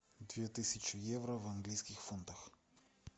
две тысячи евро в английских фунтах